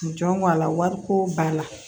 Jɔn ŋ'a la wariko b'a la